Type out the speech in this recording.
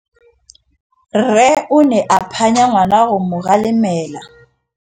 Rre o ne a phanya ngwana go mo galemela.